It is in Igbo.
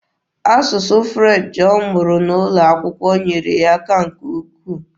Asụsụ French ọ mụrụ N'ụlọakwụkwọ nyeere ya aka nke ukwu.